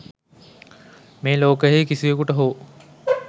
මේ ලෝකයෙහි කිසිවකුට හෝ